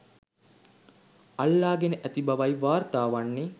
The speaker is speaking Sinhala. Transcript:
අල්ලා ගෙන ඇති බවයි වාර්තා වන්නේ.